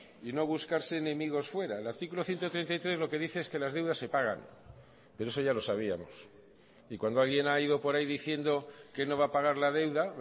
y no buscarse enemigos fuera el artículo ciento treinta y tres lo que dice es que las deudas se pagan pero eso ya lo sabíamos y cuando alguien ha ido por ahí diciendo que no va a pagar la deuda